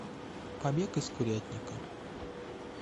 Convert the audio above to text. побег из курятника